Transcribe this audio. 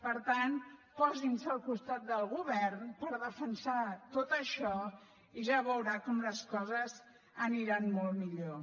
per tant posin se al costat del govern per defensar tot això i ja veurà com les coses aniran molt millor